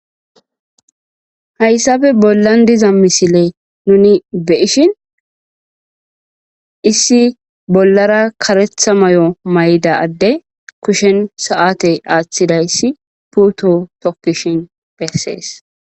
Hyssappe bollan dizza misilley nunni be'shin issi karretha addey sate athidi putte tokishe dizzayssa besees.